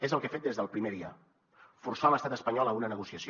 és el que he fet des del primer dia forçar l’estat espanyol a una negociació